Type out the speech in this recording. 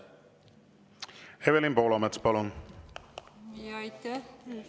Evelin Poolamets, palun!